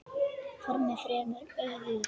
Formin fremur ófögur.